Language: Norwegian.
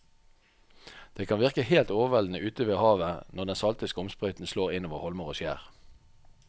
Det kan virke helt overveldende ute ved havet når den salte skumsprøyten slår innover holmer og skjær.